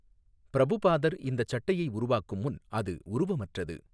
பிரபுபாதர் இந்தச் சட்டையை உருவாக்கும் முன் அது உருவமற்றது.